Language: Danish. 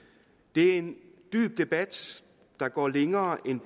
det er en dyb debat der går længere end